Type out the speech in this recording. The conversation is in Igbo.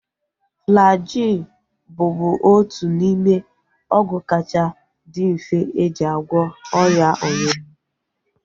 Flajil bụbu otu n'ime ọgwụ kacha dị mfe eji agwọ ọrịa ọnyụnyụ